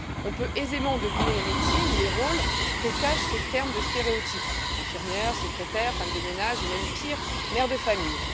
On peut aisément deviner les métiers ou les rôles que cache ce terme de stéréotype infirmière, secrétaire, femme de ménage ou même pire, mère de famille.